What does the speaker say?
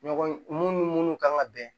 Ɲɔgɔn mun ni mun kan ka bɛn